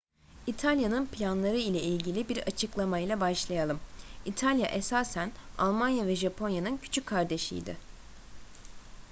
i̇talya'nın planları ile ilgili bir açıklamayla başlayalım. i̇talya esasen almanya ve japonya'nın küçük kardeşi idi